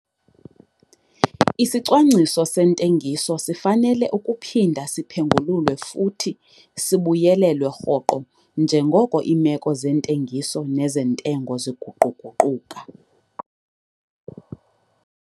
Isicwangciso sentengiso sifanele ukuphinda siphengululwe futhi sibuyelelwe rhoqo njengoko iimeko zentengiso nezentengo ziguqu-guquka.